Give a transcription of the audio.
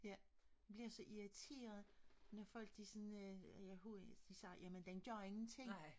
Jeg bliver så irriteret når folk de sådan øh ja hund de siger jamen den gør ingenting